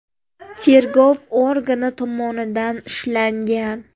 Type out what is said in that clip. tergov organi tomonidan ushlangan.